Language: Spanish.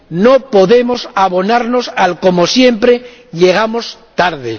No podemos abonarnos al como siempre, llegamos tarde.